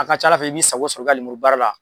A ka ca Ala fɛ i b'i sago sɔrɔ i ka lemuru baara la.